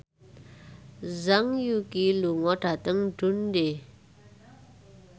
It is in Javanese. Zhang Yuqi lunga dhateng Dundee